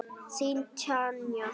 Þín Tanja.